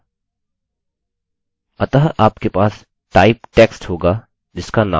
अतः आपके पास type text होगा जिसका नाम name है